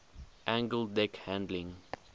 angled deck landing